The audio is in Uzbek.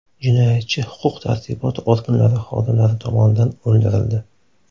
Jinoyatchi huquq-tartibot organlari xodimlari tomonidan o‘ldirildi.